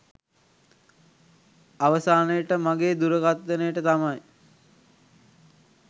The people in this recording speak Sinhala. අවසානයට මගේ දුරකතනයට තමයි